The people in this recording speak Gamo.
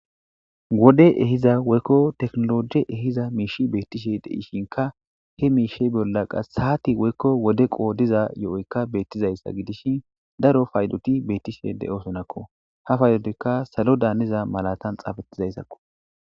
Woddey ehida woykko techenoloje ehido mishi betishe de'ishinka he mishe bollaka xaddi woykko wode qodido izayika betishe giddishin daro payddoti betishe de'osonako ha paydotika salodani hanida izako